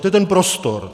To je ten prostor.